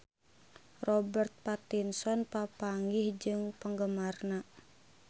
Robert Pattinson papanggih jeung penggemarna